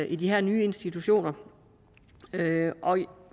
i de her nye institutioner og